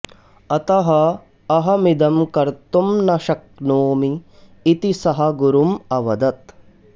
अतः अहमिदं कर्तुं न शक्नोमि इति सः गुरुम् अवदत्